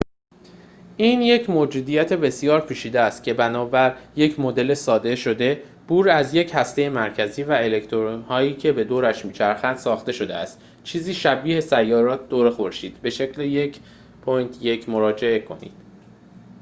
این یک موجودیت بسیار پیچیده است که بنابر یک مدل ساده شده بور از یک هسته مرکزی و الکترون‌هایی که به دورش می‌چرخنده ساخته شده است چیزی شبیه به سیارات دور خورشید به شکل ۱.۱ مراجعه کنید